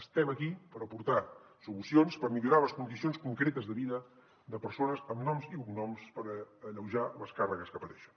estem aquí per aportar solucions per millorar les condicions concretes de vida de persones amb noms i cognoms per alleujar les càrregues que pateixen